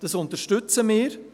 Das unterstützen wir.